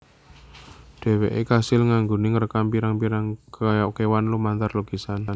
Dheweke kasil anggone ngrekam pirang pirang kewan lumantar lukisan